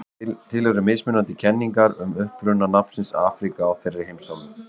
til eru mismunandi kenningar um uppruna nafnsins afríka á þeirri heimsálfu